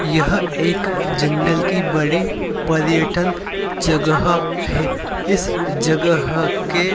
यह एक जंगल की बड़ी पर्यटन जगह है। इस जगह के --